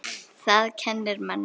Það kennir manni.